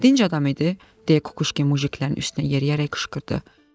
Dinc adam idi, - deyə Kukuşkin mujiklərin üstünə yeriyərək qışqırdı.